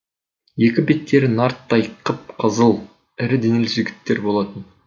екі беттері нарттай қып қызыл ірі денелі жігіттер болатын